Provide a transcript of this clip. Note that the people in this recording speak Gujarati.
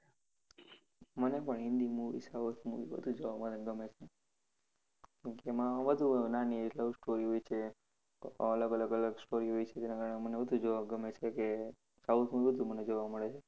મને પણ હિન્દી movie, south movie વધુ જોવા મને ગમે છે. કાકે એમાં વધુ નાની love story હોય છે, અલગ અલગ story હોય છે જેના કારણે મને વધુ જોવા ગમે છે કાકે south માં બધું મને જોવા મળે છે.